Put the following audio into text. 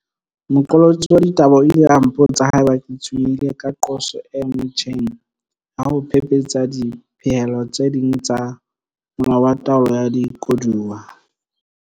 Moqolotsi wa ditaba o ile a mpotsa haeba ke tshwenyehile ka qoso e motjheng ya ho phephetsa dipehelo tse ding tsa Molao wa Taolo ya Dikoduwa.